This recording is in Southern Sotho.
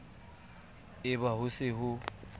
e ba ho se ho